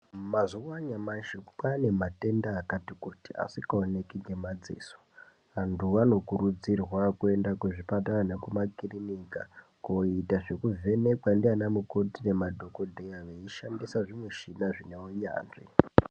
Mazuwa anyamashi kwaane matenda kati kuti asikaoneki ngemadziso vantu vanokurudzirwa kuenda kuzvipatara nekumakirinika koita zvekuvhenekwa ndiana mukoti nemadhokodeya veishandisa zvimushina zvine unyanzvi.